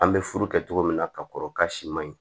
An bɛ furu kɛ cogo min na ka kɔrɔ k'a si ma ɲi